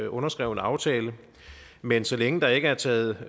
underskrevne aftaler men så længe der ikke er taget